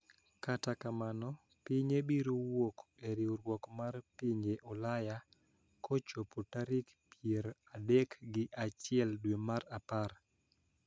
Kata kamano pinye biro wuok e riwruok mar pinje ulaya (EU) kochopo tarik pier adek gi achiel dwe mar apar